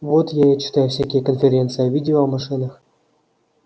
вот я и читаю всякие конференции о видео о машинах